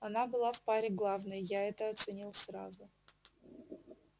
она была в паре главной я это оценил сразу